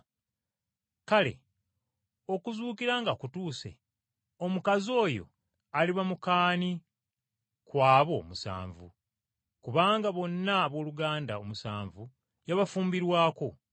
Kale okuzuukira nga kutuuse omukazi oyo aliba muka ani ku abo omusanvu? Kubanga bonna abooluganda omusanvu yabafumbirwako.”